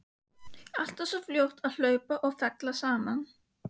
Alltaf svo fljót að hlaupa og falleg saman.